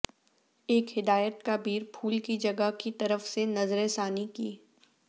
ایک ہدایت کا بیر پھول کی جگہ کی طرف سے نظر ثانی کی